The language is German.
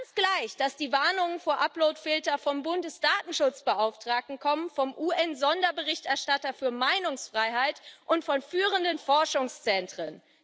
Ganz gleich, dass die Warnung vor Uploadfiltern vom Bundesdatenschutzbeauftragten kommen, vom UN Sonderberichterstatter für Meinungsfreiheit und von führenden Forschungszentren.